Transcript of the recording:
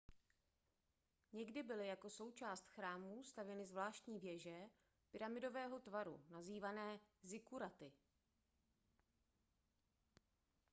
někdy byly jako součást chrámů stavěny zvláštní věže pyramidového tvaru nazývané zikkuraty